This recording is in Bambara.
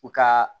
U ka